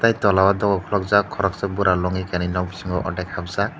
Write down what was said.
tola o dogor kulukjaak koroksa bura nog bisingo ordek habjaak.